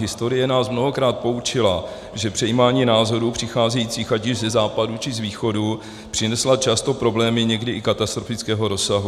Historie nás mnohokrát poučila, že přejímání názorů přicházejících ať již ze Západu, či z Východu přinesla často problémy někdy i katastrofického rozsahu.